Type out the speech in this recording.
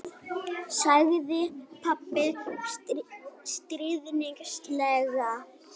sagði pabbi stríðnislega.